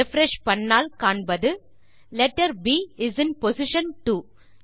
refresh செய்தால் காண்பது letter P is in position 2